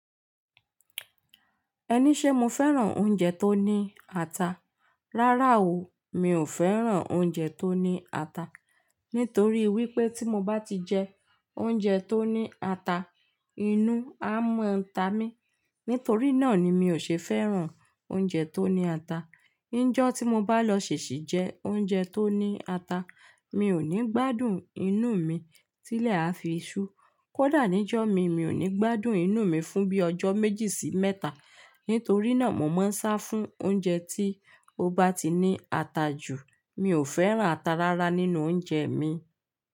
Ẹni ṣé mo fẹ́ràn oúnjẹ tó ní ata? Rárá o, mi ò fẹ́ràn oúnjẹ tó ní ata. Nítorí wípé tí mo bá ti jẹ oúnjẹ tó ní ata, inú a mọ̀ ń ta mí. Nítorí náà ni mi ò ṣe fẹ́ràn oúnjẹ tó ní ata. Njẹ́ tí mo bá lọ ṣèṣì jẹ oúnjẹ tó ní ata, mi ò ní gbádùn inú mi tílẹ̀ a fi iṣu. Kódà níjọ́ mi, mi ò ní gbádùn inú mi fún bí i ọjọ́ méjì sí mẹ́ta. Nítorí náà mo máa ń sá fún oúnjẹ tí ó bá ti ní ata jù. Mi ò fẹ́ràn ata rárá nínú oúnjẹ mi.